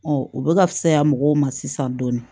u bɛ ka fisaya mɔgɔw ma sisan dɔɔni